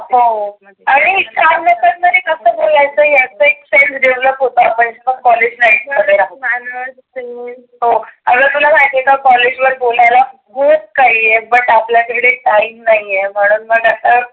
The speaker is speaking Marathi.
हो आणि चार लोकां मध्ये कसं बोलायचं याचा हि skill develop होतं आपण शिकत आहोत. हो. आग तुला माहिती आहे का कॉलेज वर बोलायला खुप काही आहे पण आपल्याकडे time नाहीए. म्हणून मग आता.